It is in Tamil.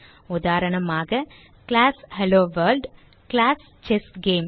உதாரணமாக கிளாஸ் ஹெல்லோவொர்ல்ட் கிளாஸ் செஸ்கேம்